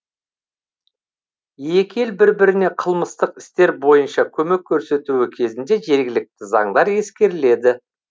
екі ел бір біріне қылмыстық істер бойынша көмек көрсетуі кезінде жергілікті заңдар ескеріледі